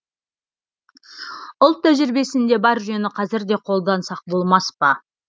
ұлт тәжірибесінде бар жүйені қазір де қолдансақ болмас па